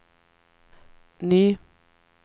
ny